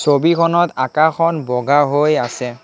ছবিখনত আকাশখন বগা হৈ আছে।